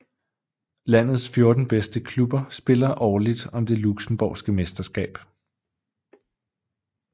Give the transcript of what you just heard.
Landets 14 bedste klubber spiller årligt om det Luxembourgske mesterskab